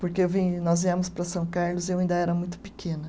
Porque vi, nós viemos para São Carlos eu ainda era muito pequena.